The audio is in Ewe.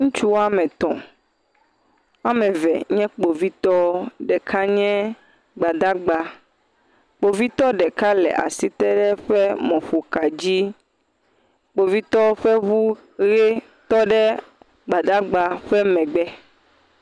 Ŋutsu woame etɔ. Wòame eve nye kpovitɔ. Ɖeka nye gbadagba. Kpovitɔ ɖeka le asi te ɖe eƒe mɔƒoka dzi. Kpovitɔwo ƒe eʋu ɣi tɔ ɖe gbadagba ɖe megbe.